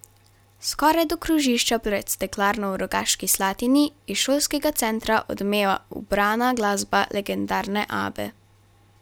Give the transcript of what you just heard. Skoraj do krožišča pred steklarno v Rogaški Slatini iz Šolskega centra odmeva ubrana glasba legendarne Abbe.